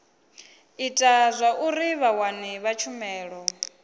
ita zwauri vhawani vha tshumelo